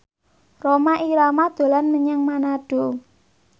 Rhoma Irama dolan menyang Manado